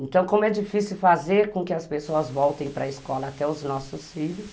Então, como é difícil fazer com que as pessoas voltem para a escola, até os nossos filhos,